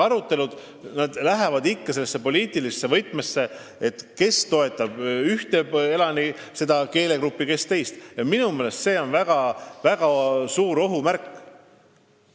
Aga need arutelud lähevad ikka sellesse poliitilisse võtmesse, et kes toetab ühte keelegruppi, kes teist, mis on minu meelest väga suur ohumärk.